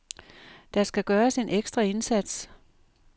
Der skal gøres en ekstra indsats.